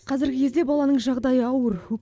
қазіргі кезде баланың жағдайы ауыр